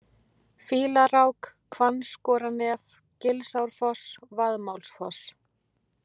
Fýlarák, Hvannskorarnef, Gilsárfoss, Vaðmálsfoss